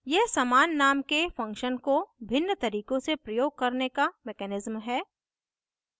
यह समान name के function को भिन्न तरीकों से प्रयोग करने का mechanism है